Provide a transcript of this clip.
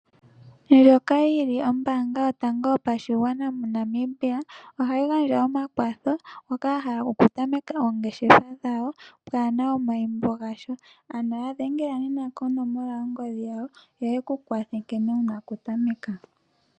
Ndjoka yili ombaanga yotango moNamibia ohayi gandja omakwatho mboka ya hala oku tameka oongeshefa dhawo pwaana omayimbo gasha. Ano ya dhengela nena konomola yongodhi yawo yo yeku kwathe nkene wuna oku tameka